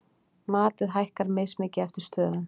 Matið hækkar mismikið eftir stöðum.